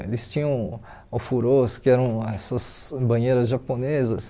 Eles tinham ofurôs que eram essas banheiras japonesas